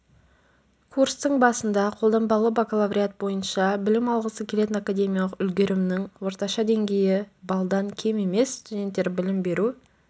курстың басында қолданбалы бакалавриат бойынша білім алғысы келетін академиялық үлгерімнің орташа деңгейі баллдан кем емес студенттер білім беру